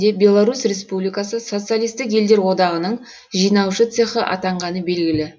беларусь республикасы социалистік елдер одағының жинаушы цехы атанғаны белгілі